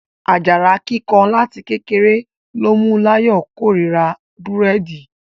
Ajara kíkan láti kékeré ló mú l'ayọ kò rírà Búrẹ́di.